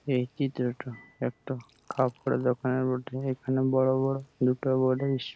এই চিত্রটা একটা কাপড়ের দোকানের বটে। এখানে বড়ো বড়ো দুটো বডিস --